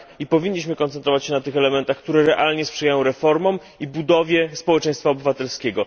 Powinniśmy koncentrować się na tych elementach, które realnie sprzyjają reformom i budowie społeczeństwa obywatelskiego.